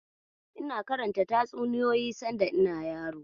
Ina karanta tatsuniyoyin sanda ina yaro.